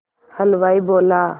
हलवाई बोला